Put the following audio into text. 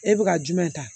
E bɛ ka jumɛn ta